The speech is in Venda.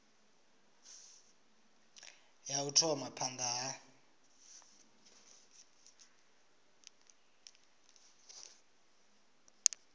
ya u thoma phanda ha